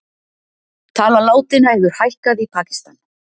Tala látinna hefur hækkað í Pakistan